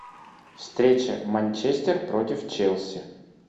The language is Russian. встреча манчестер против челси